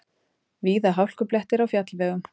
Víða hálkublettir á fjallvegum